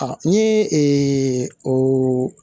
Ni o